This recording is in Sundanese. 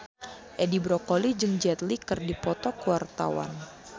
Edi Brokoli jeung Jet Li keur dipoto ku wartawan